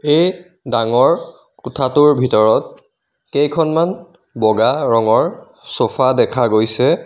এই ডাঙৰ কোঠাটোৰ ভিতৰত কেইখনমান ব'গা ৰঙৰ ছফা দেখা গৈছে.